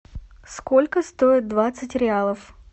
сколько стоит двадцать реалов